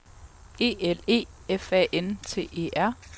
E L E F A N T E R